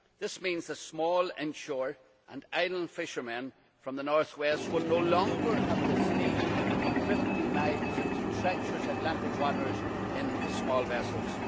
This means that small inshore and island fishermen from the north west will no longer have to steam 50 miles into treacherous Atlantic waters in small vessels.